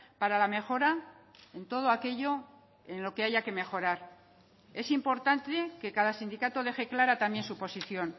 para la mejora en todo aquello en lo que haya que mejorar es importante que cada sindicato deje clara también su posición